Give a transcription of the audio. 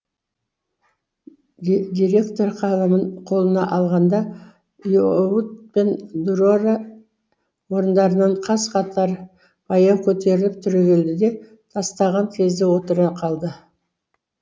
директор қаламын қолына алғанда оюут пен дүрэрэ орындарынан қаз қатар баяу көтеріліп түрегеледі де тастаған кезде отыра қалады